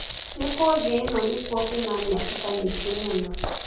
nĩ kũ thĩ ĩno nĩkũo kwĩna mĩatũka mĩngi mũno